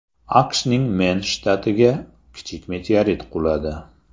AQShning Men shtatiga kichik meteorit quladi.